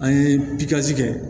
An ye pilasi kɛ